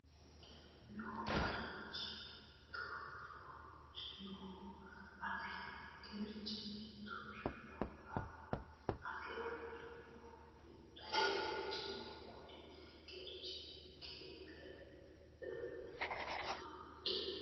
no geerchi mittu rinohu afi no geerchi mittu rinohu afi afi rinohu mittu geerchi no Kuni geerchi Ninke ille dhooqqa !